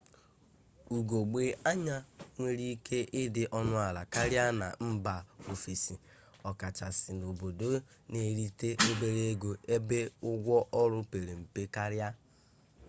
ugogbe anya nwere ike ịdị ọnụala karịa na mba ofesi ọkachasị n'obodo na-erite obere ego ebe ụgwọ ọrụ pere mpe karịa